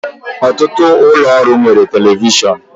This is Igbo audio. Ọtụtụ ụlọ ọrụ nwere telivishọn